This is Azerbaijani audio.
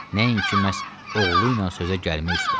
Nəinki məhz oğlu ilə sözə gəlmək üstə.